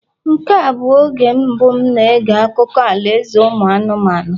Nke a bụ oge mbụ m na-ege akụkọ alaeze ụmụ anụmanụ